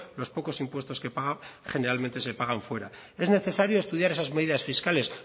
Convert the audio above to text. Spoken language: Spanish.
los pocos impuestos que paga generalmente se pagan fuera es necesario estudiar esas medidas fiscales